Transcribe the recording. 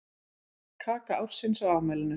Kaka ársins á afmælinu